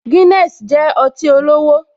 Guinness jẹ́ ọtí olówó